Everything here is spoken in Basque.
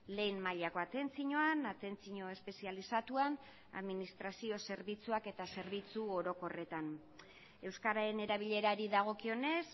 lehen mailako atentzioan atentzio espezializatuan administrazio zerbitzuak eta zerbitzu orokorretan euskararen erabilerari dagokionez